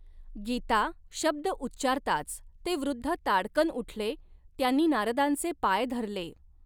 गीता' शब्द उच्चारताच ते वृध्द ताडकन उठले, त्यांनी नारदांचे पाय धरले.